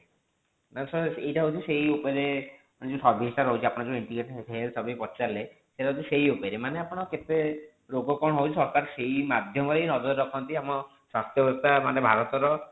ଏଇଟା ହୋଉଛି ସେଇ ଉପରେ ମାନେ ଯୋଉ service ଟା ରହୁଛି ଆପଣ ଯେଉଁ integrating health service ପଚାରିଲେ ସେଟା ହୋଉଛି ସେଇ ଉପରେ ମାନେ ଆପଣ କେତେ ରୋଗ କଣ ହୋଉଛି ହଟାତ ସେଇ ମାଧ୍ୟମରେ ନଜର ରଖନ୍ତି ଆମ ସ୍ୱାସ୍ଥ୍ୟଅବସ୍ଥା ମାନେ ଭରତ ର